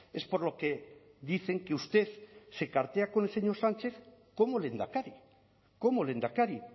es por lo que dicen que usted se cartea con el señor sánchez como lehendakari como lehendakari